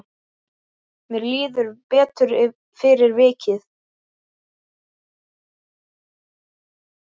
Mér líður betur fyrir vikið.